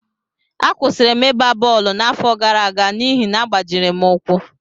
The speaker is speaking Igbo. Akwụsịrị m ịgba bọọlụ n’afọ gara aga n’ihi na agbajiri m ụkwụ